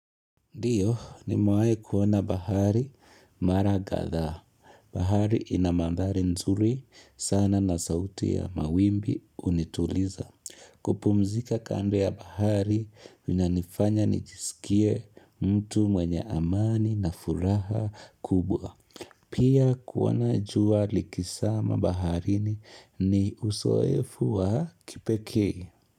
Ndiyo, nimewahi kuona bahari mara kathaa. Bahari ina mandhari nzuri sana na sauti ya mawimbi unituliza. Kupumzika kando ya bahari inanifanya nijiskie mtu mwenye amani na furaha kubwa. Pia kuona jua likisama baharini ni usoefu wa kipekee.